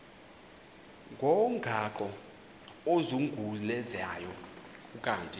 ngomgaqo ozungulezayo ukanti